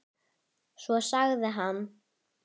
Svo sagði hann